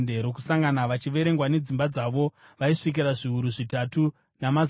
vachiverengwa nedzimba dzavo, vaisvika zviuru zvitatu, namazana maviri.